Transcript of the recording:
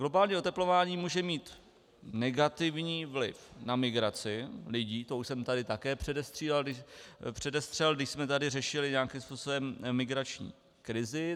Globální oteplování může mít negativní vliv na migraci lidí, to už jsem tady taky předestřel, když jsme tady řešili nějakým způsobem migrační krizi.